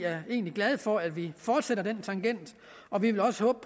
er egentlig glad for at vi fortsætter den tangent og vi vil også håbe